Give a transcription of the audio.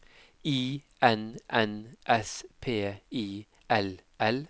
I N N S P I L L